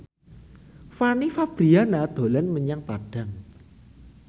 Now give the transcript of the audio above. Fanny Fabriana dolan menyang Padang